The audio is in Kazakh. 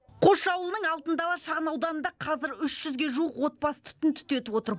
қосшы ауылының алтын дала шағынауданында қазір үш жүзге жуық отбасы түтін түтетіп отыр